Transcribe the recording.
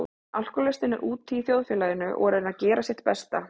Alkohólistinn er úti í þjóðfélaginu og er að reyna að gera sitt besta.